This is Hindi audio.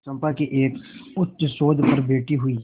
चंपा के एक उच्चसौध पर बैठी हुई